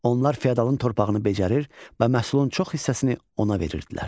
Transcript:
Onlar fiodalın torpağını becərir və məhsulun çox hissəsini ona verirdilər.